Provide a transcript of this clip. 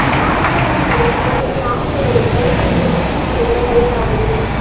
ஆபாச படம் எடுத்து மிரட்டிய ஆசிரியரை கொலை செய்து வீட்டில் புதைத்த கள்ளக்காதலி